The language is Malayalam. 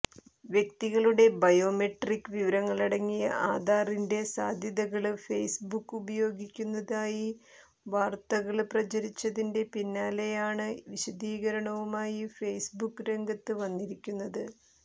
വ്യക്തികളുടെ ബയോമെട്രിക് വിവരങ്ങളടങ്ങിയ ആധാറിന്റെ സാധ്യതകള് ഫെയ്സ്ബുക് ഉപയോഗിക്കുന്നതായി വാര്ത്തകള് പ്രചരിച്ചതിന്റെ പിന്നാലെയാണ് വിശദീകരണവുമായി ഫെയ്സ്ബുക്ക് രംഗത്ത് വന്നിരിക്കുന്നത്